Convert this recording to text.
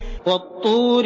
وَالطُّورِ